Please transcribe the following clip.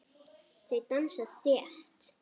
Þau dansa þétt.